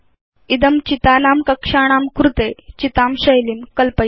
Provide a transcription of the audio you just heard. इदं चितानां कक्षाणां कृते चितां शैलीं कल्पयेत्